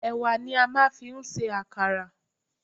Ẹ̀wà ni a máa fi ń ṣe àkàrà.